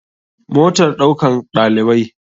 Motar ɗaukan ɗalibai.